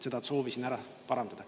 Seda soovisin ära parandada.